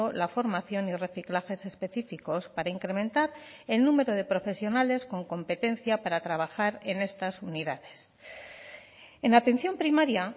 la formación y reciclajes específicos para incrementar el número de profesionales con competencia para trabajar en estas unidades en atención primaria